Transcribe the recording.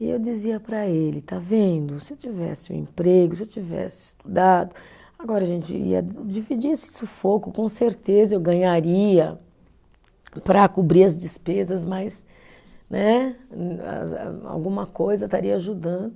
E eu dizia para ele, está vendo, se eu tivesse um emprego, se eu tivesse estudado, agora a gente ia dividir esse sufoco, com certeza eu ganharia para cobrir as despesas, mas né alguma coisa estaria ajudando.